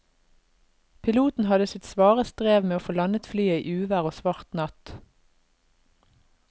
Piloten hadde sitt svare strev med å få landet flyet i uvær og svart natt.